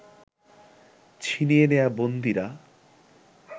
ছিনিয়ে নেয়া বন্দীরা